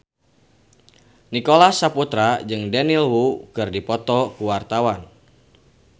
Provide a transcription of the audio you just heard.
Nicholas Saputra jeung Daniel Wu keur dipoto ku wartawan